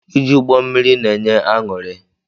Ije ụgbọ mmiri na-enye aṅụri.